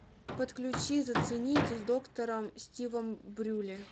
подключи зацените с доктором стивом брюле